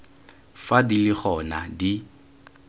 fa di le gona di